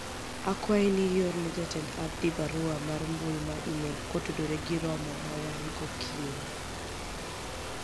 akwayi ni ior ne Jatend Abdi barua mar mbui mar email kotudore gi romo ma wan'go kiny